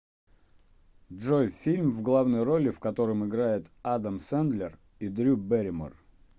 джой фильм в главной роли в котором играет адам сендлер и дрю берримор